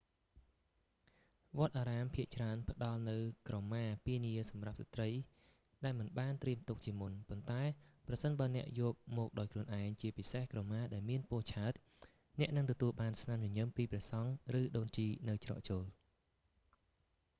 វត្តអារាមភាគច្រើនផ្តល់នូវក្រមាពានាសម្រាប់ស្ត្រីដែលមិនបានត្រៀមទុកជាមុន ប៉ុន្តែប្រសិនបើអ្នកយកមកដោយខ្លួនឯង ជាពិសេសក្រមាដែលមានពណ៌ឆើត អ្នកនឹងទទួលបានស្នាមញញឹមពីព្រះសង្ឃឬដូនជីនៅច្រកចូល